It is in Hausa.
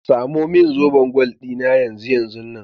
Samo min zoben gwal ɗina yanzu yanzunnan.